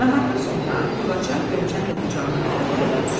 Nahardan sonra Gülaçar Qönçəni də qucağına alıb həyətə düşdü.